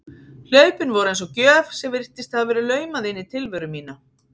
Hlaupin voru eins og gjöf sem virtist hafa verið laumað inn í tilveru mína.